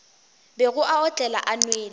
bego a otlela a nwele